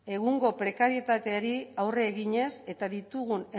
egungo prekarietateari aurre eginez eta ditugun